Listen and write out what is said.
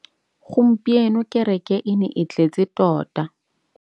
Gompieno kêrêkê e ne e tletse tota.